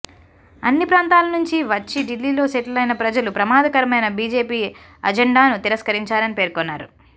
అన్ని ప్రాంతాల నుంచి వచ్చి ఢిల్లీలో సెటిలైన ప్రజలు ప్రమాదకరమైన బిజెపి అజెండాను తిరస్కరించారని పేర్కొన్నారు